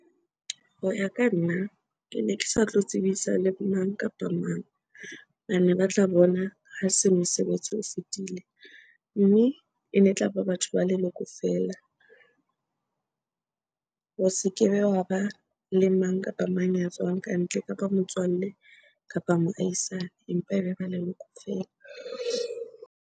Ho ya ka nna, kene ke sa tlo tsebisa le mang kapa mang. Bane ba tla bona ha se mosebetsi o fetile mme ene tlaba batho ba leloko feela. Ho se kebe hwa ba le mang kapa mang ya tswang kantle, kapa motswalle kapa moahisane, empa ebe ba leloko feela.